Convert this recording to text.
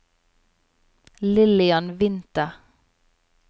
Lillian Winther